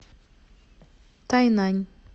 тайнань